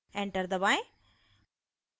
enter दबाएं